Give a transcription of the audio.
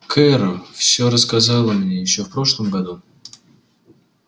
кэро всё рассказала мне ещё в прошлом году